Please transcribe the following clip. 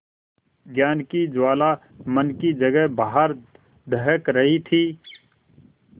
ज्ञान की ज्वाला मन की जगह बाहर दहक रही थी